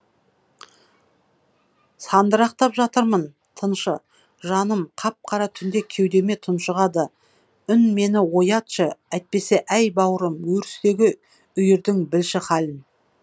сандырақтап жатырмын тыншы жаным қап қара түн кеудемде тұншығады үн мені оятшы әйтпесе әй бауырым өрістегі үйірдің білші халін